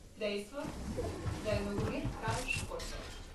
Dejstvo, da je nogomet kralj športov.